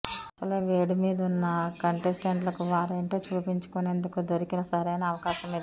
అసలే వేడి మీదున్న కంటెస్టెంట్లకు వారేంటో చూపించుకునేందుకు దొరికిన సరైన అవకాశమిది